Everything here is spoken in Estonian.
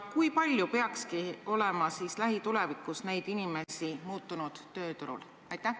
Kui palju peaks lähitulevikus neid inimesi muutunud tööturul olema?